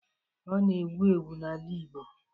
Ọ na-ewu ewu n'ala igbo.